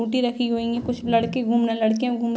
Scooty रखी हुई हैं। कुछ लड़के घूम रहे हैं लड़कियां भी घूम --